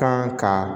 Kan ka